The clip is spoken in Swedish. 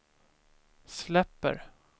släpper